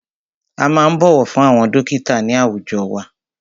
A máa ń bọ̀wọ̀ fún àwọn dọ́kítà ní àwùjọ wa.